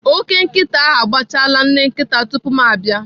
Ókè nkịta ahụ agbachala nne nkịta tupu ma abịa.